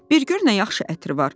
Bir gör nə yaxşı ətri var.